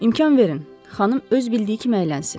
“İmkan verin, xanım öz bildiyi kimi əylənsin”.